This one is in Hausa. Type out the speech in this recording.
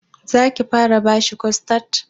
Za ki fara bashi kostad?